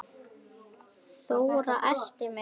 Þóra elti mig.